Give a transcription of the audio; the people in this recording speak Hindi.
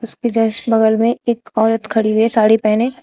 इसके जस्ट बगल में एक औरत खड़ी हुई है साड़ी पहने।